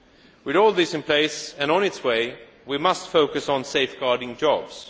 With all this in place and on its way, we must focus on safeguarding jobs.